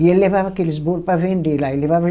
E ele levava aqueles bolo para vender lá. Ele levava